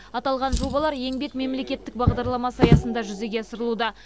аталған жобалар еңбек мемлекеттік бағдарламасы аясында жүзеге асырылуда